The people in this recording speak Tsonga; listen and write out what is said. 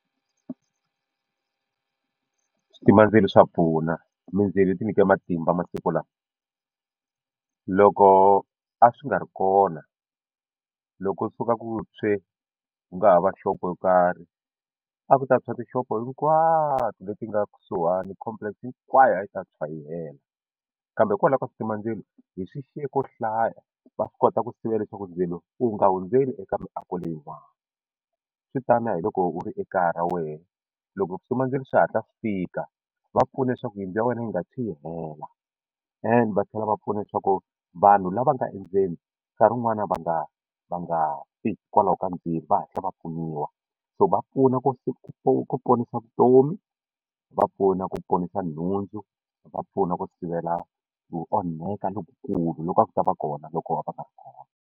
Switimandzilo swa pfuna mindzilo yi ti nyike matimba masiku lawa loko a swi nga ri kona loko u suka ku tshwe ku nga ha va shop yo karhi a ku ta tshwa tixopo hinkwato leti nga kusuhani complex hinkwayo a yi ta tshwa yi hela kambe kwalaho ka switimandzilo hi swi xiye ko hlaya ku swa swi kota ku sivela leswaku ndzilo wu nga hundzeli eka miako leyin'wana swi tani na loko u ri ekaya ra wena loko switimandzilo swi hatla swi fika va pfuna leswaku yindlu ya wena yi nga tshwi yi hela ende va tlhela va pfuna leswaku vanhu lava nga endzeni ka rin'wana va nga va nga fi hikwalaho ka ndzilo va hatla va pfuniwa so va pfuna ku ponisa vutomi va pfuna ku ponisa nhundzu va pfuna ku sivela ku onhaka lokukulu loko a ku ta va kona loko a va nga ri kona.